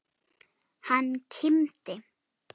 Hann kímdi.